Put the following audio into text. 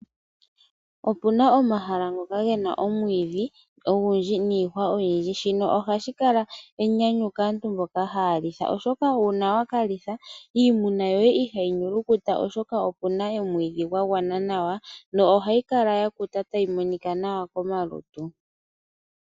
Opuna omahala ngoka gena omwiidhi ogundji niihwa oyindji shino ohashi kala enyanyu kaantu mboka haya litha oshoka uuna wa kalitha iimuna yoye ihayi nyulukuta oshoka okuna omwiidhi gwa gwana nawa no ohayi kala ya kuta tayi monika nawa komalutu.